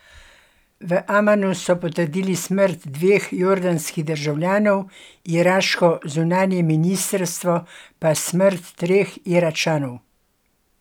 V Amanu so potrdili smrt dveh jordanskih državljanov, iraško zunanje ministrstvo pa smrt treh Iračanov.